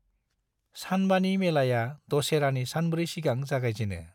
सानबानि मेलाया दसेरानि सानब्रै सिगां जागायजेनो।